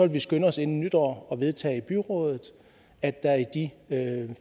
vi skynde os inden nytår at vedtage i byrådet at der i de